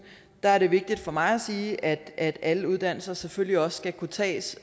er det vigtigt for mig at sige at alle uddannelser selvfølgelig også skal kunne tages